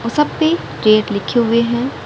और सब पे गेट लिखे हुए हैं।